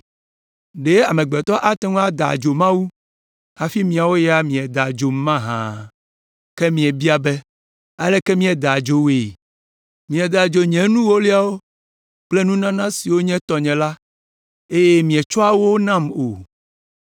“Ɖe amegbetɔ ate ŋu ada adzo Mawu hafi miawo ya mieda adzom mahã? “Ke míebia be, ‘Aleke míeda adzo wòe?’ “Mieda adzo nye nu ewolia kple nunana siwo nye tɔnye la eye mietsɔa wo nam o.